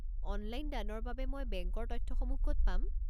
Online দানৰ বাবে মই বেংকৰ তথ্যসমূহ ক'ত পাম?